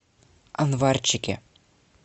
анварчике